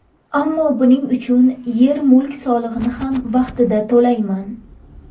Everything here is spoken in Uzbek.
Ammo buning uchun yer-mulk solig‘ini ham vaqtida to‘layman.